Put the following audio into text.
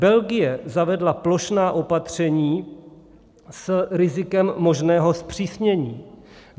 Belgie zavedla plošná opatření s rizikem možného zpřísnění.